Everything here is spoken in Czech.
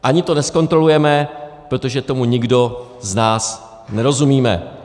Ani to nezkontrolujeme, protože tomu nikdo z nás nerozumíme.